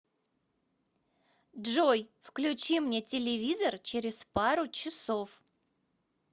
джой включи мне телевизор через пару часов